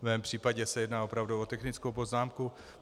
V mém případě se jedná opravdu o technickou poznámku.